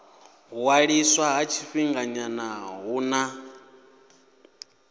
ṅwaliswa ha tshifhinganyana hu na